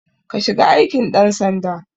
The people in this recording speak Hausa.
Ka shiga aikin ɗan sanda